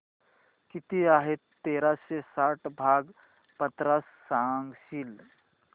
किती आहे तेराशे साठ भाग पन्नास सांगशील